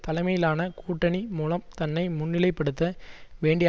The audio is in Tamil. தலைமையிலான கூட்டணி மூலம் தன்னை முன்னிலை படுத்த வேண்டிய